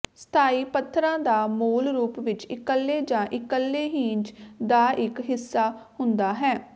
ਸਥਾਈ ਪੱਥਰਾਂ ਦਾ ਮੂਲ ਰੂਪ ਵਿੱਚ ਇਕੱਲੇ ਜਾਂ ਇਕੱਲੇ ਹੀਨਜ ਦਾ ਇਕ ਹਿੱਸਾ ਹੁੰਦਾ ਹੈ